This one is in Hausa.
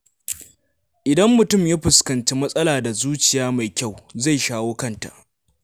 Idan mutum ya fuskanci matsala da zuciya mai kyau, zai shawo kanta.